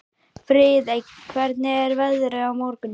Friðey, hvernig er veðrið á morgun?